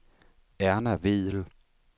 Erna Vedel